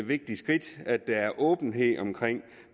vigtigt skridt at der er åbenhed omkring